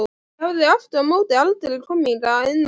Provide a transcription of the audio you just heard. Ég hafði aftur á móti aldrei komið hingað inn áður.